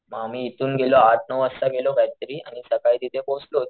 म आम्ही इथून गेलो आठ नऊ वाजता गेलो काय तरी आणि सकाळी तिथे पोहोचलो